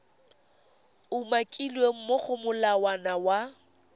umakilweng mo go molawana wa